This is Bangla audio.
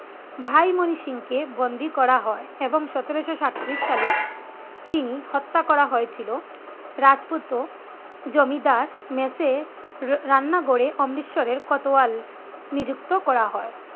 ভাই মনি সিং কে বন্দি করা হয় এবং সতেরোশো সাইত্রিশ সালে তিনি হত্যা করা হয়েছিল। রাজপুত্র জমিদার মেসে রান্নাঘরে অমৃতসরের কতোয়াল নিযুক্ত করা হয়